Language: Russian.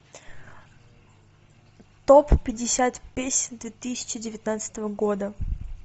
топ пятьдесят песен две тысячи девятнадцатого года